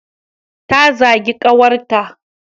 Ta zagi kawar ta